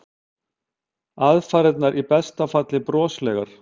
Aðfarirnar í besta falli broslegar.